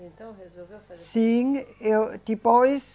Então, resolveu fazer? Sim, eu depois